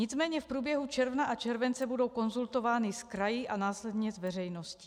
Nicméně v průběhu června a července budou konzultovány s kraji a následně s veřejností.